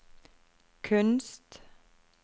kunst